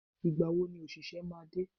Ìgbàwo ni òṣìṣẹ́ máa dé?